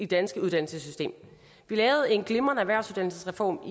danske uddannelsessystem vi lavede en glimrende erhvervsuddannelsesreform